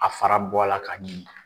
A fara bɔ la ka ɲimi.